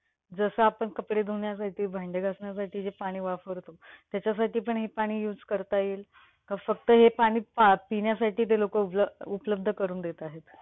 जस आपण कपडे धुवण्यासाठी, भांडे घासण्यासाठी जे पाणी वापरतो त्याच्यासाठी पण हे पाणी use करता येईल? का फक्त हे पाणी पिण्यासाठी ते लोकं उपल उपलब्ध करून देत आहेत?